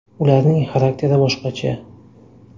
Ularning xarakteri boshqacha.